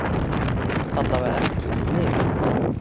Alla vega ekki við mig.